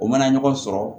U mana ɲɔgɔn sɔrɔ